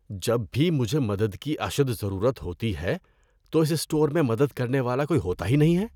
جب بھی مجھے مدد کی اشد ضرورت ہوتی ہے تو اس اسٹور میں مدد کرنے والا کوئی ہوتا ھی نہیں ہے۔